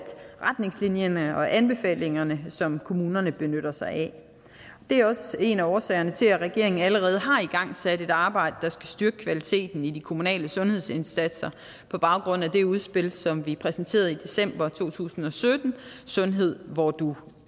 retningslinjerne og anbefalingerne som kommunerne benytter sig af det er også en af årsagerne til at regeringen allerede har igangsat et arbejde der skal styrke kvaliteten i de kommunale sundhedsindsatser på baggrund af det udspil som vi præsenterede i december to tusind og sytten sundhed hvor du